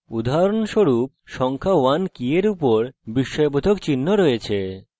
উদাহরণস্বরূপ সংখ্যা 1 key for উপর বিস্ময়বোধক চিহ্ন রয়েছে